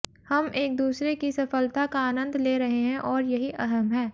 हम एक दूसरे की सफलता का आनंद ले रहे हैं और यही अहम है